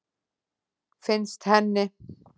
Finnst henni.